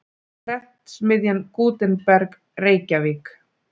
Prentsmiðjan Gutenberg, Reykjavík.